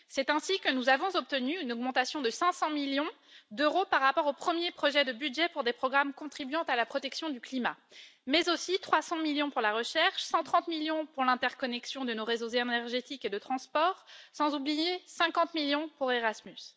C'est ainsi que nous avons obtenu une augmentation de 500 millions d'euros par rapport au premier projet de budget pour des programmes contribuant à la protection du climat, mais aussi 300 millions pour la recherche, 130 millions pour l'interconnexion de nos réseaux énergétiques et de transport, sans oublier 50 millions pour Erasmus.